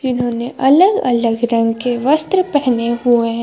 इन्होंने अलग अलग रंग के वस्त्र पहने हुए हैं।